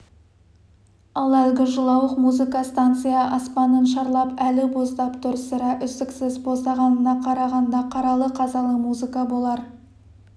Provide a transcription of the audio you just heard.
ал әлгі жылауық музыка станция аспанын шарлап әлі боздап тұр сірә үздіксіз боздағанына қарағанда қаралы қазалы музыка болар